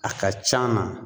A ka c'an na